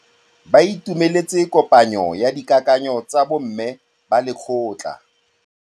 Ba itumeletse kôpanyo ya dikakanyô tsa bo mme ba lekgotla.